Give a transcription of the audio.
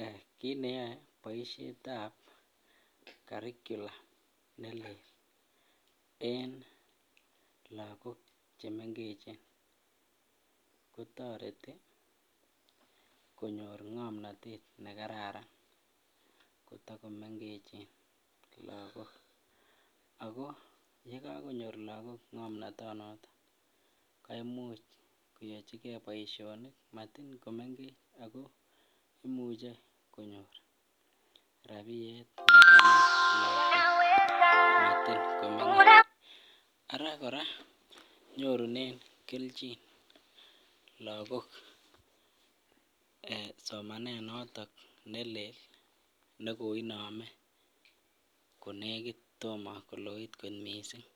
Eeh kiit neyoe boishetab carricular nelel en lokok chemengechen kotoreti konyor ngomnotet nekararan kotoko mengechen lokok ak ko yekokonyor lokok ngomnotonoton koimuch koyochike boishonik motin komengech ak ko imuche konyor rabiyet unawesa, araa kora nyorunen kelchin lokok somanet notok nelel nekoinome konekit tomo koloit kot mising